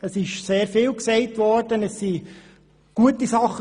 Es ist sehr vieles gesagt worden, auch gute Sachen.